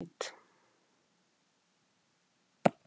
Segja má að slík gen séu ónýt.